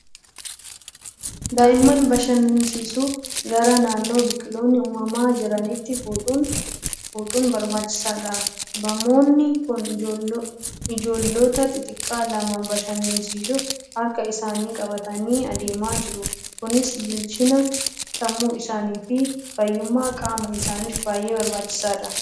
Daa'imman bashannansiisuuf gara naannoo biqiloonni uumamaa jiranitti fuudhuun barbaachisaadha. Bamoonni kun ijoollota xixiqqoo lama bashannansiisuuf harka isaanii qabatanii adeemaa jiru. Kunis bilchina sammuu isaanii fi fayyummaa qaama isaaniif baay'ee barbaachisaadha.